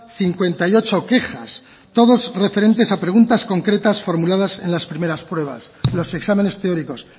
cincuenta y ocho quejas todas referentes a preguntas concretas formuladas en las primeras pruebas los exámenes teóricos